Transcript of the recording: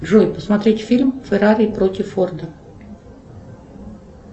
джой посмотреть фильм феррари против форда